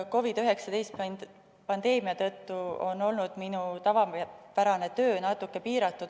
COVID-19 pandeemia tõttu on olnud minu tavapärane töö natuke piiratud.